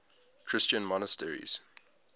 christian monasteries